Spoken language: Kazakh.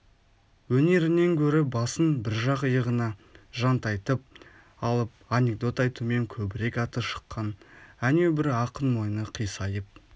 өнерінен гөрі басын бір жақ иығына жантайтып алып анекдот айтумен көбірек аты шыққан әнеу бір ақын мойны қисайып